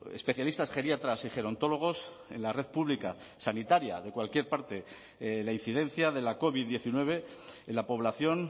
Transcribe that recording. especialistas geriatras y gerontólogos en la red pública sanitaria de cualquier parte la incidencia de la covid diecinueve en la población